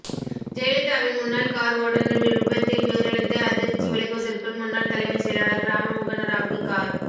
ஜெயலலிதாவின் முன்னாள் கார் ஓட்டுநர் விபத்தில் உயிரிழந்த அதிர்ச்சி விலகுவதற்குள் முன்னாள் தலைமைச் செயலாளர் ராமமோகனராவுக்கு கார்